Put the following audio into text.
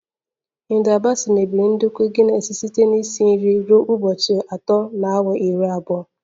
Hilda baci mebiri ndekọ Guinness site na isi nri ruo ụbọchị atọ na awa iri abụọ